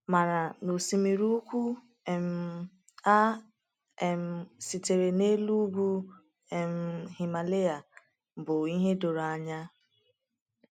Mana na osimiri ukwu um a um sitere n’elu ugwu um Himalaya bụ ihe doro anya.